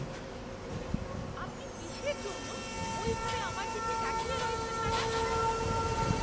আপনি কিসের জন্য ওইভাবে আমার দিকে তাকিয়ে রয়েছেন ম্যাডাম?